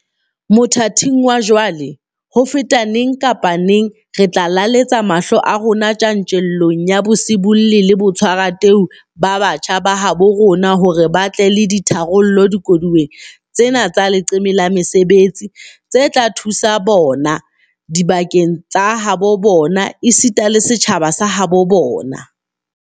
Mothating wa jwale, ho feta neng kapa neng, re tla lelaletsa mahlo a rona tjantjellong ya bosibolli le botshwarateu ba batjha ba habo rona hore ba tle le ditharollo dikoduweng tsena tsa leqeme la mesebetsi tse tla thusa bona, dibaka tsa habo bona esita le setjhaba sa habo bona.